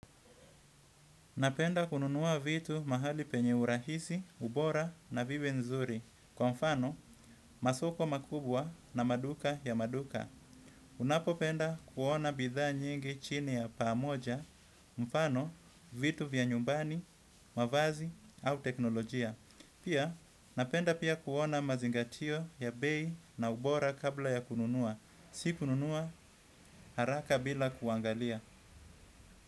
Napenda kununua vitu mahali penye urahisi, ubora na vibe nzuri. Kwa mfano, masoko makubwa na maduka ya maduka. Unapopenda kuona bidhaa nyingi chini ya pamoja, mfano, vitu vya nyumbani, mavazi au teknolojia. Pia, napenda pia kuona mazingatio ya bei na ubora kabla ya kununua. Si kununua haraka bila kuangalia.